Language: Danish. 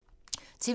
TV 2